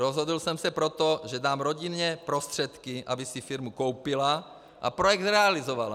Rozhodl jsem se proto, že dám rodině prostředky, aby si firmu koupila a projekt zrealizovala.